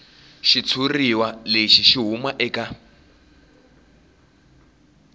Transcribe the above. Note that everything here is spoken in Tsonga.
xitshuriwa lexi xi huma eka